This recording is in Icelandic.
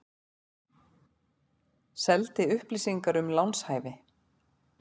Seldi upplýsingar um lánshæfi